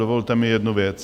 Dovolte mi jednu věc.